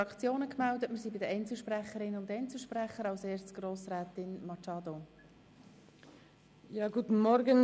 Für die grüne Fraktion hat Grossrätin Machado das Wort.